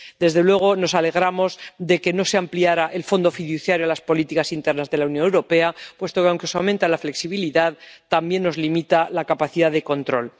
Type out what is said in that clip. Desde luego, nos alegramos de que no se ampliara el fondo fiduciario a las políticas internas de la Unión Europea, puesto que, aunque se aumenta la flexibilidad, también nos limita la capacidad de control.